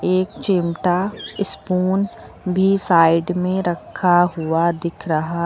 एक चिमटा स्पून भी साइड में रखा हुआ दिख रहा--